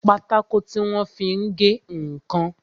Pátákó tí wọ́n fi ń gé ǹkan